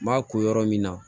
N b'a ko yɔrɔ min na